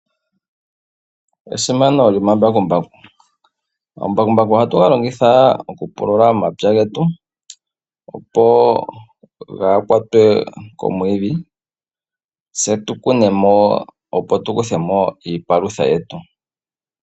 Esimano lyomambakumbaku, omambakumbaku ohatu galongitha okupulula omapya getu opo gaakwatwe komwiidhi tse tukune mo opo tukuthe mo iipalutha yetu.